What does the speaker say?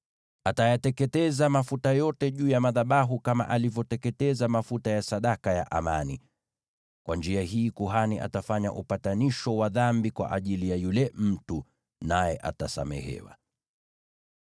Atayateketeza mafuta yote juu ya madhabahu, kama alivyoteketeza mafuta ya sadaka ya amani. Kwa njia hii kuhani atafanya upatanisho wa dhambi kwa ajili ya yule mtu, naye atasamehewa.